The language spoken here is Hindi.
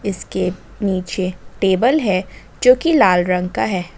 इसके नीचे टेबल है जो कि लाल रंग का है।